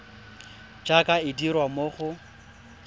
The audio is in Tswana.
jaaka e dirwa mo go